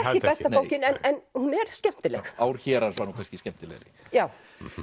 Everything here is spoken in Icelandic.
besta bókin en hún er skemmtileg ár hérans var nú kannski skemmtilegri já